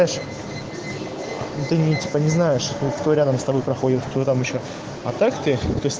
типа не знаешь кто рядом с тобой проходит кто там ещё а так ты